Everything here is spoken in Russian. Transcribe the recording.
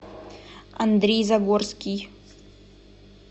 андрей загорский